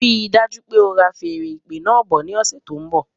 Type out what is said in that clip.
Rí dájú pé ora feèrè ìpè náà bọ̀ ní ọsẹ tó n bọ